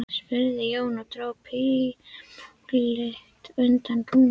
spurði Jón og dró púltið undan rúminu.